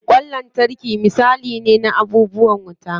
Ƙwan lantarki misali ne na abubuwan wuta.